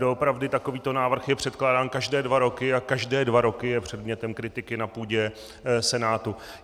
Doopravdy takovýto návrh je předkládán každé dva roky a každé dva roky je předmětem kritiky na půdě Senátu.